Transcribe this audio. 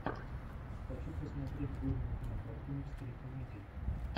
хочу посмотреть годную кинокартину в стиле комедии